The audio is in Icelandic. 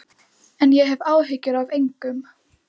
En ég hef áhyggjur af engum.